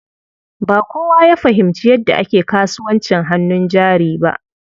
Ba kowa ya fahimci yadda ake kasuwancin hannun jari ba.